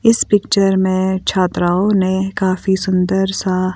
इस पिक्चर में छात्राओ ने काफी सुंदर सा--